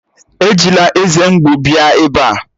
Ejila eze mgbu bịa ebe a!